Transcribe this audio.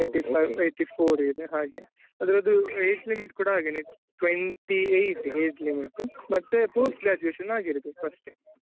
Eighty-five eighty-four ಇದೆ ಹಾಗೆ ಅದ್ರದ್ದು age limit ಕೂಡ ಹಾಗೇನೇ twenty-eight age limit ಮತ್ತೆ post graduation ಆಗಿರ್ಬೇಕು ಅಷ್ಟೇ.